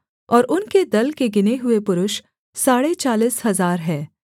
और उनके दल के गिने हुए पुरुष साढ़े चालीस हजार हैं